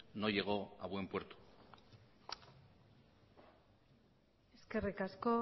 no llegó a buen puerto eskerrik asko